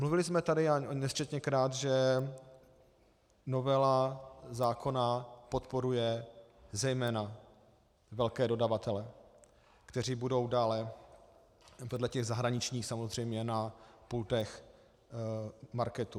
Mluvili jsme tady nesčetněkrát, že novela zákona podporuje zejména velké dodavatele, kteří budou dále, vedle těch zahraničních samozřejmě, na pultech marketů.